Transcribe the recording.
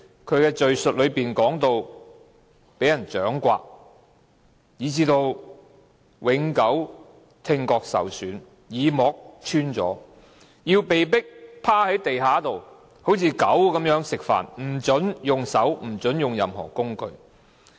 他們在敘述中說到被人掌摑，以致聽覺永久受損，耳膜穿了；要被迫像狗般趴在地上吃飯，不准用手或任何工具。